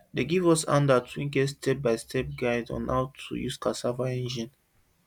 dey give us handout wey get step by step guide on how to use cassava engine